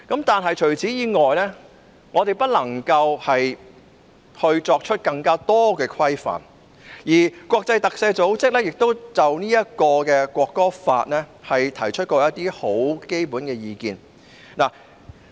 但除此以外，我們無法作出更多規範，而國際特赦組織亦就國歌法提出一些基本意見。